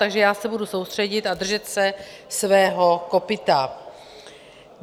Takže já se budu soustředit a držet se svého kopyta.